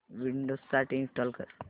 Windows साठी install कर